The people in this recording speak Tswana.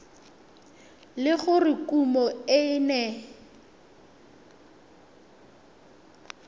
le gore kumo e ne